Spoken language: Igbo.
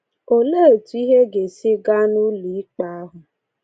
Olee etu ihe ga-esi gaa n’ụlọ ikpe ahụ?